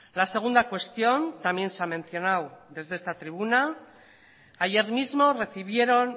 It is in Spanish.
la segunda cuestión también se mencionado desde esta tribuna ayer mismo recibieron